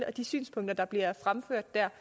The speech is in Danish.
og de synspunkter der bliver fremført der